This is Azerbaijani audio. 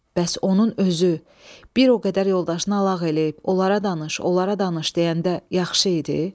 Bəs onun özü bir o qədər yoldaşını əlaq eləyib, onlara danış, onlara danış deyəndə yaxşı idi?